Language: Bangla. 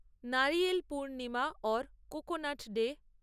Nariyal Purnima or coconut day